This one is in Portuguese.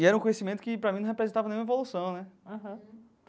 E era um conhecimento que para mim não representava nenhuma evolução, né?